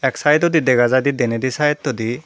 ek side odi dega jiy di denedi side odi.